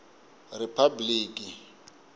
ripabliki